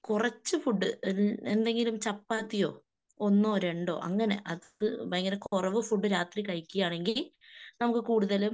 കുറച്ച് ഫുഡ് എന്തെങ്കിൽം ചപ്പാത്തിയോ ഒന്നോ രണ്ടോ അങ്ങനെ, അത് ഭയങ്കര കുറവ് ഫുഡ് രാത്രി കഴിക്കുകയാണെങ്കിൽ നമുക്ക് കൂടുതലും